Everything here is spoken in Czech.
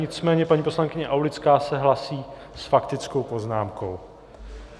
Nicméně paní poslankyně Aulická se hlásí s faktickou poznámkou.